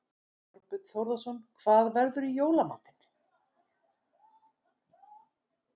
Þorbjörn Þórðarson: Hvað verður í jóla matinn?